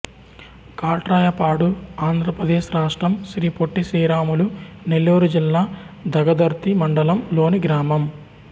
కాట్రాయపాడు ఆంధ్ర ప్రదేశ్ రాష్ట్రం శ్రీ పొట్టి శ్రీరాములు నెల్లూరు జిల్లా దగదర్తి మండలం లోని గ్రామం